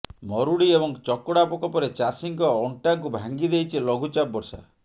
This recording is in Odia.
ମରୁଡି ଏବଂ ଚକଡ଼ା ପୋକ ପରେ ଚାଷୀଙ୍କ ଅଂଟାକୁ ଭାଙ୍ଗି ଦେଇଛି ଲଘୁଚାପ ବର୍ଷା